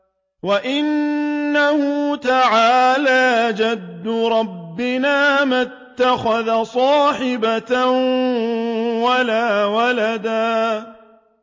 وَأَنَّهُ تَعَالَىٰ جَدُّ رَبِّنَا مَا اتَّخَذَ صَاحِبَةً وَلَا وَلَدًا